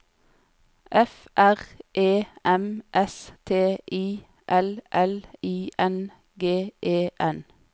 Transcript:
F R E M S T I L L I N G E N